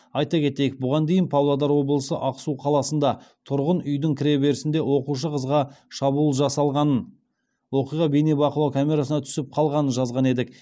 айта кетейік бұған дейін павлодар облысы ақсу қаласында тұрғын үйдің кіреберісінде оқушы қызға шабуыл жасалғанын оқиға бейнебақылау камерасына түсіп қалғанын жазған едік